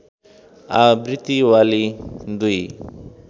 आवृत्ति वाली दुई